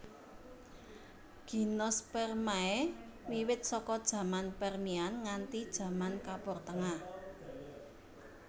Gimnospermae wiwit saka jaman Permian nganti jaman Kapur Tengah